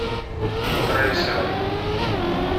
трейсеры